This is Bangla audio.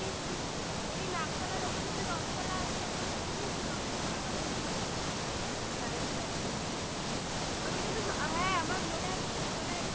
আরে আমি ওই নাকতলার ওখানে যে রথ তলা আছে ওখানে শুনেছি রথ রথের মেলা বড় করে হয় কিন্তু আমি যাইনি কখনো ওখান থেকে তো হ্যাঁ আমার মনে আছে ছোটবেলায় একবার বাবা